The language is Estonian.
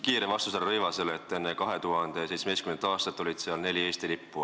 Kiire vastus härra Rõivasele: enne 2017. aastat oli seal ainult neli Eesti lippu.